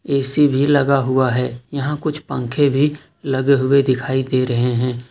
AC भी लगा हुआ है यहां कुछ पंखे भी लगे हुए दिखाई दे रहे हैं।